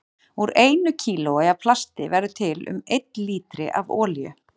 Úr einu kílói af plasti verður til um einn lítri af olíu.